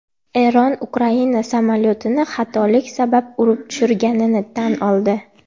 Eron Ukraina samolyotini xatolik sabab urib tushirganini tan oldi .